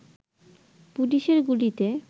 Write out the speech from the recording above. পুলিশের গুলিতে